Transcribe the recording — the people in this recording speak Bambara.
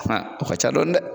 Ah, o ka ca dɔɔni dɛ!